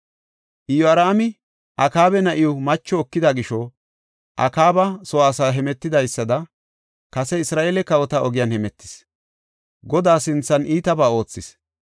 Iyoraami Akaaba na7iw macho ekida gisho, Akaaba soo asay hemetidaysada kase Isra7eele kawota ogiyan hemetis; Godaa sinthan iitabaa oothis.